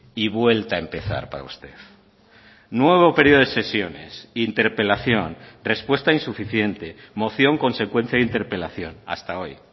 y vuelta a empezar para usted nuevo periodo de sesiones interpelación respuesta insuficiente moción consecuencia de interpelación hasta hoy